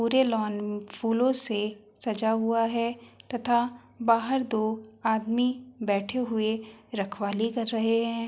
पूरे लॉन फूलों से सजा हुआ है तथा बाहर दो आदमी बैठे हुए रखवाली कर रहे हैं।